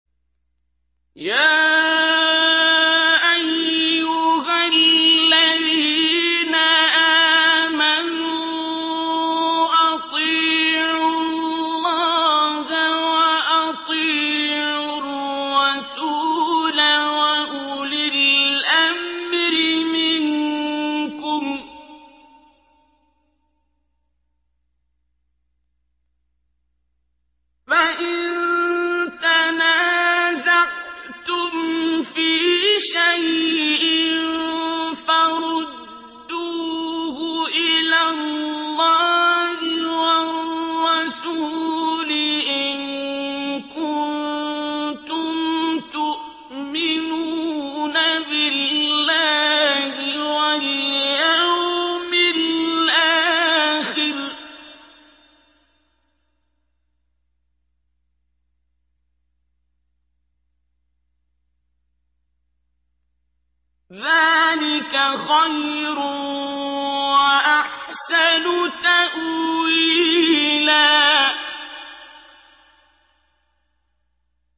يَا أَيُّهَا الَّذِينَ آمَنُوا أَطِيعُوا اللَّهَ وَأَطِيعُوا الرَّسُولَ وَأُولِي الْأَمْرِ مِنكُمْ ۖ فَإِن تَنَازَعْتُمْ فِي شَيْءٍ فَرُدُّوهُ إِلَى اللَّهِ وَالرَّسُولِ إِن كُنتُمْ تُؤْمِنُونَ بِاللَّهِ وَالْيَوْمِ الْآخِرِ ۚ ذَٰلِكَ خَيْرٌ وَأَحْسَنُ تَأْوِيلًا